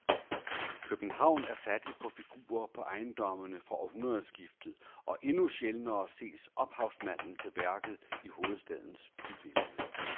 København er fattig på figurer på ejendommene fra århundredskiftet og endnu sjældnere ses ophavsmanden til værket i hovedstadens bybillede.